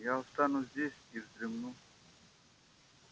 я останусь здесь и вздремну